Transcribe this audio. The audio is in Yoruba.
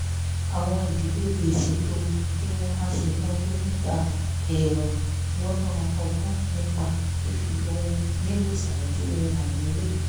àwọn ìdílé lè ṣètò bí wọ́n á ṣe náwó nígbà ẹ̀ẹ̀rùn lọ́nà bọ́gbọ́n nípa fífi ohun nílò ṣáájú ohun àìnílò